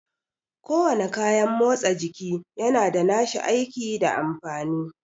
Ko wane kayan motsa jiki yana da nashi aiki da amfani